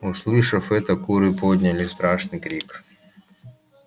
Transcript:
услышав это куры подняли страшный крик